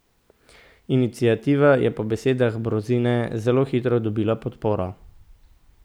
Iniciativa je po besedah Brozine zelo hitro dobila podporo.